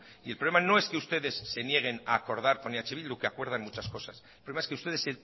y el problema no es que ustedes se nieguen a acordar con eh bildu que acuerdan muchas cosas el problema es que ustedes